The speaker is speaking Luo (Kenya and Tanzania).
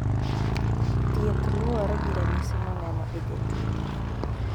Thieth luore gi ranyisi moneno e jatuo